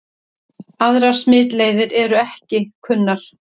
Aðrar smitleiðir eru ekki kunnar.